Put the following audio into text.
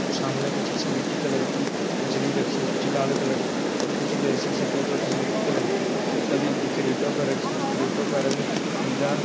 सामने कुछ सिलेटी कलर की मछली रखी कुछ लाल कलर की कुछ वैसी सफेद और सिलेटी कलर की सब एक क्रेता पर रखी क्रेटों का रंग पीला --